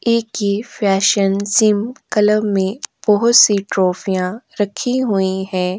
Colour में बहुत सी ट्राफियां रखी हुई है।